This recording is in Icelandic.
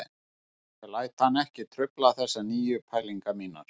Ég læt hann ekki trufla þessar nýju pælingar mínar